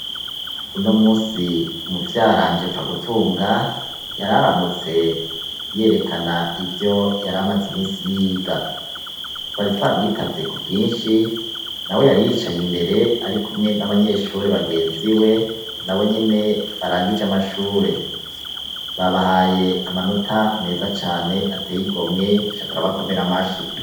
Uno munsi muvyaranje Pfagutunga, yari aramutse yerekana ivyo yari amaze iminsi yiga. Twari twamwitavye ku bwinshi, na we yari yicaye imbere ari kumwe n'abanyeshure bagenzi we, na bo nyene barangije amashure. Babahaye amanota meza cane ateye igomwe duca turabakomera amashi